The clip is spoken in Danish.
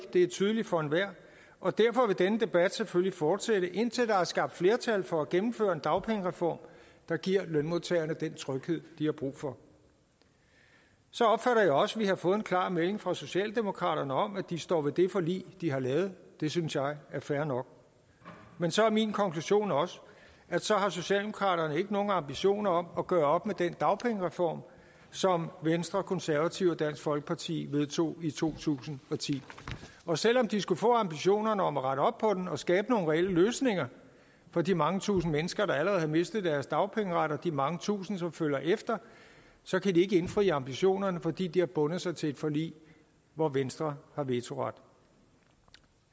det er tydeligt for enhver og derfor vil denne debat selvfølgelig fortsætte indtil der er skabt flertal for at gennemføre en dagpengereform der giver lønmodtagerne den tryghed de har brug for så opfatter jeg også at vi har fået en klar melding fra socialdemokraterne om at de står ved det forlig de har lavet det synes jeg er fair nok men så er min konklusion også at så har socialdemokraterne ikke nogen ambitioner om at gøre op med den dagpengereform som venstre konservative og dansk folkeparti vedtog i to tusind og ti og selv om de skulle få ambitioner om at rette op på den og skabe nogle reelle løsninger for de mange tusinde mennesker der allerede har mistet deres dagpengeret og de mange tusinde som følger efter så kan de ikke indfri ambitionerne fordi de har bundet sig til et forlig hvor venstre har vetoret